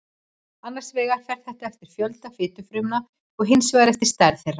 annars vegar fer það eftir fjölda fitufrumna og hins vegar eftir stærð þeirra